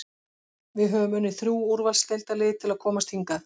Við höfum unnið þrjú úrvalsdeildarlið til að komast hingað.